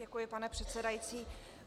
Děkuji, pane předsedající.